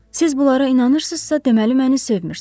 Siz bunlara inanırsınızsa, deməli məni sevmirsiz.